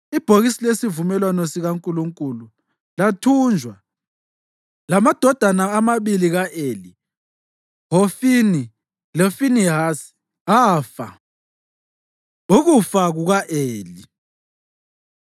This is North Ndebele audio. Ibhokisi lesivumelwano sikaNkulunkulu lathunjwa, lamadodana amabili ka-Eli, Hofini loFinehasi, afa. Ukufa Kuka-Eli